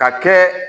Ka kɛ